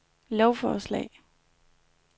lovforslag